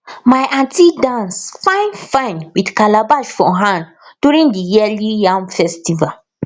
my aunty dance finefine with calabash for hand during the yearly yam festival